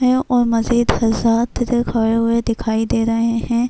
ہے اور مزید حضرات کھڈے ہوئے دکھائی دے رہے ہیں۔